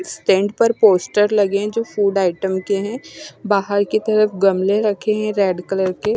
stand पर poster लगे है जो की फूड आइटम के है बाहर की तरफ़ गमले रखे हुए है रेड कलर के--